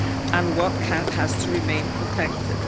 and what has to remain protected.